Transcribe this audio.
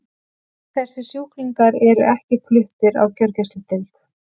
Þessir sjúklingar eru ekki fluttir á gjörgæsludeild.